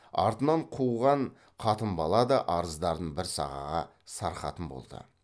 артынан қуған қатын бала да арыздарын бір сағаға сарқатын болды